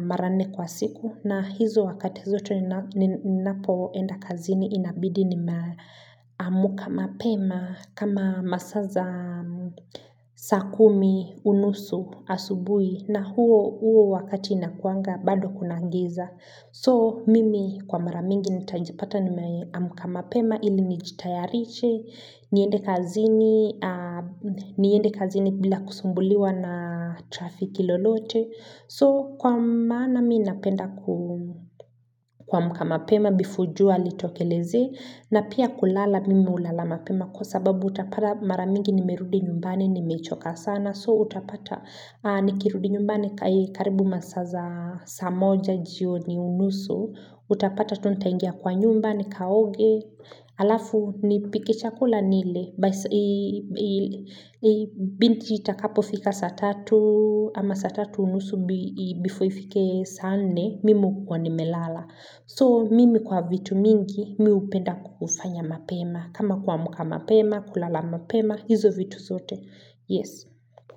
mara nne kwa siku na hizo wakati zote ninapoenda kazini inabidi nimeamka mapema kama masaa za saa kumi unusu asubuhi na huo huo wakati inakuanga bado kuna giza So mimi kwa mara mingi nitajipata nimeamka mapema ili nijitayarishe, niende kazini bila kusumbuliwa na trafiki lolote. So kwa maana mi napenda kuamka mapema before jua litokeleze na pia kulala mimi hulala mpema kwa sababu utapata mara mingi nimerudi nyumbani nimechoka sana. So utapata nikirudi nyumbani karibu masaa za saa moja jioni unusu, utapata tu nitaingia kwa nyumba nikaoge, alafu nipike chakula nile, binti itakapo fika saa tatu, ama saa tatu unusu before ifike saa nne, mimi hukua nimelala. So mimi kwa vitu mingi mi hupenda ku kufanya mapema kama kuamka mapema, kulala mapema, hizo vitu zote Yes.